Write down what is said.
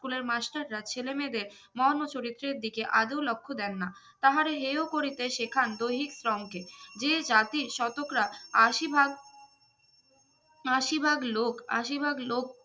স্কুলের মাস্টারা ছেলে মেয়েদের মর্ম চরিত্রের দিকে আদেও লক্ষ দেন না তাহারা হেও করিতে শেখান দৈহিক শ্রমকে যে জাতির শতকরা আশি ভাগ আশি ভাগ লোক আশি ভাগ লোক